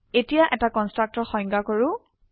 এতিয়া এটা কনস্ট্ৰাক্টৰ সংজ্ঞায় কৰো